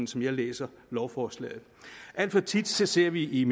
som jeg læser lovforslaget alt for tit ser vi i